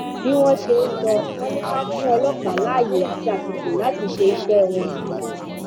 bí wọn ṣe ń sọ wọn ni ká fún ọlọpàá láàyè àti àsìkò láti ṣe iṣẹ wọn